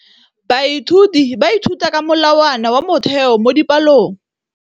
Baithuti ba ithuta ka molawana wa motheo mo dipalong.